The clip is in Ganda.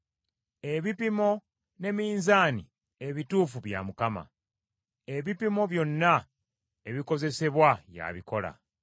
Ebipimo ne minzaani ebituufu bya Mukama , ebipimo byonna ebikozesebwa y’abikola.